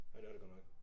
Ja det er det godt nok